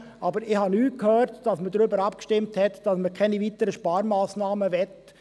Ich habe nichts davon gehört, dass man darüber abgestimmt hätte, dass man keine weiteren Sparmassnahmen wolle.